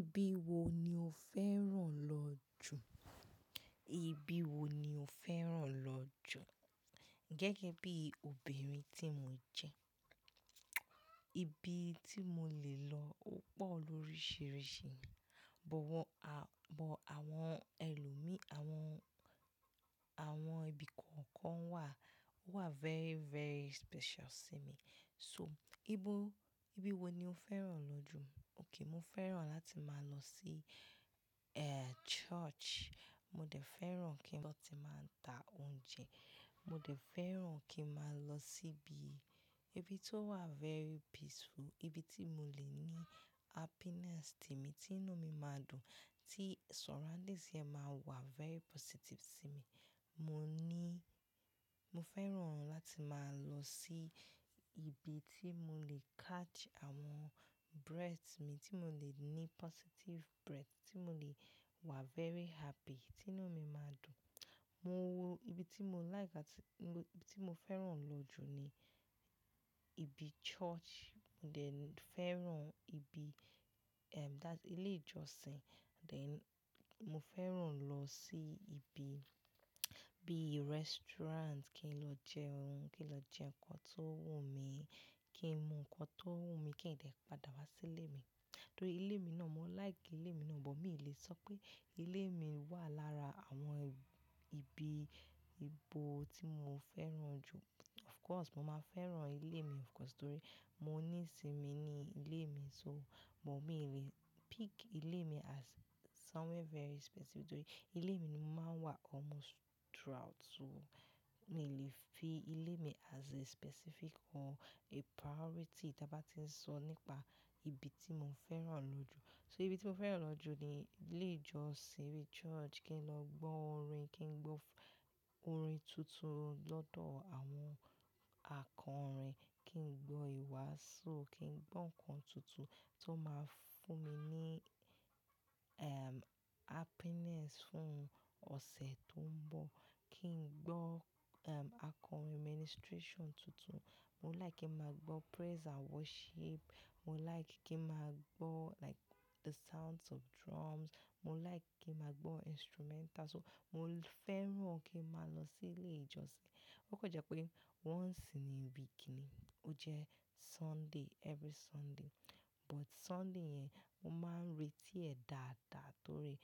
Ibi wo ni o fẹ́ràn lọ jù? Ibi wo ni o fẹ́ràn lọ jù? Gẹ́gẹ́ bí obìnrin tí mo jẹ́, ibi tí mo lè lọ ó pọ̀ lóríṣiríṣi, bọ̀ wọn a-- bọ̀ àwọn ẹlòmíì, àwọn, àwọn ibi kọ̀ọ̀kan wà, wà very, very special sí mi. So ibo-- ibi wo ni o fẹ́ràn lọ jù? Okay, mo fẹ́ràn láti máa lọ sí, eh, church. Mo dẹ̀ fẹ́ràn kí n lo tì máa ń ta oúnjẹ. Mo dẹ̀ fẹ́ràn kí n máa lọ síbi, ibi tó wà very peaceful, ibi tí mo lè ní happiness tèmi, tí inú mi máa dùn, tí surroundings yẹn máa wà very positive sí mi. Mo níí-- mo fẹ́ràn láti máa lọ sí ibi tí mo lè catch àwọn breath mi, tí mo lè ní positive breath, tí mo lè wà very happy, tí inú mi máa dùn. Mo wọ ibi tí mo like áti-- mo, ibi tí mo fẹ́ràn lọ jù ni ibi church. Mo dẹ̀ ni, fẹ́ràn ibi, ehm, that's ilé ìjọsìn. Then mo fẹ́ràn lọ sí ibi, bíi restaurant kí n lọ jẹun, kí n lọ jẹ nǹkan tó wù mí, kí n mu nǹkan tó wù mí, kí n dè padà wá sílé mi. Torí ilé mi náà, mo like ilé mi náà, bọ̀ mi ì lè sọ pé ilé mi wà lára àwọn ibi, ibo tí mo fẹ́ràn jù. Of course, mo máa fẹ́ràn ilé mi of course torí mo níì sí mi ní ilé mi so, bọ̀ mi ì lè pick ilé mi as somewhere very specific torí ilé mi ni mo máa ń wà almost throughout. So mi ì lè fi ilé mi as a specific or a priority tí a bá ti ń sọ nípa ibi tí mo fẹ́ràn lọ jù. Torí ibi tí mo fẹ́ràn lọ jù ni ilé ìjọsìn, ibi church kí n lọ gbọ́ orin, kí n gbọ́ f- orin tuntun lọ́dọ̀ àwọn akọrin, kí n gbọ́ ìwàásù, kí n gbọ́ nǹkan tuntun tó máa fún mi ní, ehm, happiness fún ọ̀sẹ̀ tó ń bọ̀. Kí n gbọ́, ehm, akọrin ministration tuntun. Mo like kí n máa gbọ́ praise and worship. Mo like kí n máa gbọ́ like the sounds of drums. Mo like kí n máa gbọ́ instrumental. So mo fẹ́ràn kí n máa lọ sí ilé ìjọsìn. Ó kọ jẹ́ pé once in a week ni, ó jẹ́ Sunday, every Sunday. But Sunday yẹn, mo máa ń retí ẹ̀ dáadáa torí